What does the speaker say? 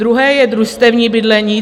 Druhé je družstevní bydlení.